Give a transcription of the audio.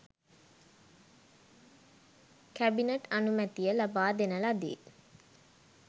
cabinet අනුමැතිය ලබා දෙන ලදී